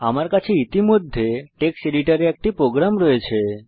আমার কাছে ইতিমধ্যে টেক্সট এডিটরে একটি প্রোগ্রাম রয়েছে